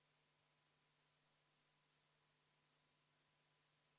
Otsustati teha ettepanek võtta eelnõu täiskogu päevakorda 4. juunil käesoleval aastal, poolt 5, vastu 2.